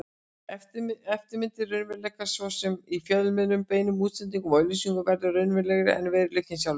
Eftirmyndir raunveruleikans, svo sem í fjölmiðlum, beinum útsendingum og auglýsingum, verða raunverulegri en veruleikinn sjálfur.